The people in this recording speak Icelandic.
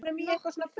Nokkur þúsund?